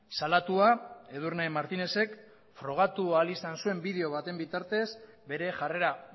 salatua edurne martinezek frogatu ahal izan zuen bideo baten bitartez bere jarrera